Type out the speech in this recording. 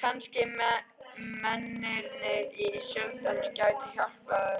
Kannski mennirnir í sölutjaldinu gætu hjálpað